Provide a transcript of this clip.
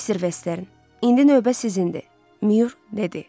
Mister Vestern, indi növbə sizindir, Myor dedi.